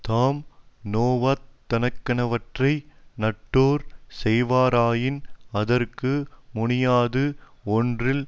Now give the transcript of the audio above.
தாம் நோவத்தக்கனவற்றை நட்டோர் செய்வாராயின் அதற்கு முனியாது ஒன்றில்